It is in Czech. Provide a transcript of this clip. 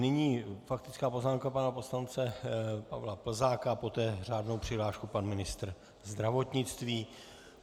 Nyní faktická poznámka pana poslance Pavla Plzáka, poté řádnou přihlášku pan ministr zdravotnictví.